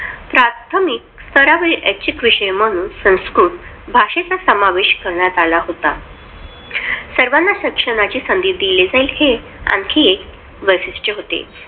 प्राथमिक स्तरावर ऐच्छिक विषय म्हणून संस्कृत भाषेचा समावेश करण्यात आला होता. सर्वांना शिक्षणाची संधी दिले जाईल हे आणखीन एक वैशिष्ट होते.